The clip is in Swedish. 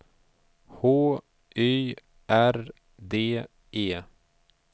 H Y R D E